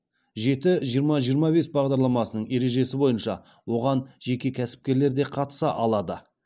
жеті жиырма жиырма бес бағдарламасының ережесі бойынша оған жеке кәсіпкерлер де қатыса алады